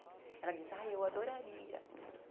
Ela diz, ah, eu adoraria.